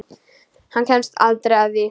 Hann kemst aldrei að því.